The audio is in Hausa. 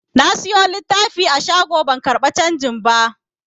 Na siyo littafi a shago ban karɓa canji ba.